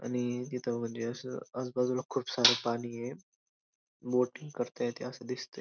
आणि तिथ म्हणजे अस आजूबाजूला खूप सार पाणी ये बोटिंग करता येतंय अस दिसतंय.